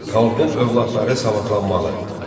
Xalqın övladları savadlanmalı.